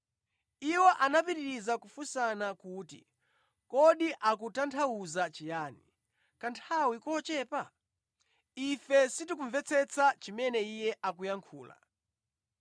Iwo anapitiriza kufunsana kuti, “Kodi akutanthauza chiyani, ‘kanthawi kochepa?’ Ife sitikumvetsetsa chimene Iye akuyankhula.”